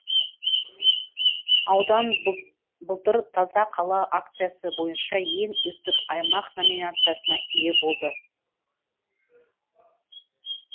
аудан былтыр таза қала акциясы бойынша ең үздік аймақ номинациясына ие болды